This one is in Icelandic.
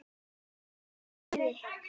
Hún er æði.